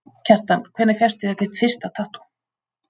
Kjartan: Hvenær fékkstu þér þitt fyrsta tattú?